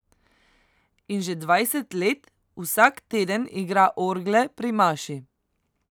In že dvajset let vsak teden igra orgle pri maši.